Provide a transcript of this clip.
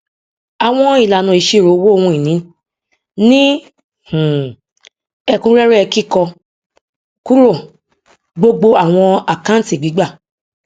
àwọn ìlànà ìṣirò owó ohun ìní ní um ẹkúnrẹrẹ kíkọ kúrò gbogbo àwọn àkáǹtì gbígbà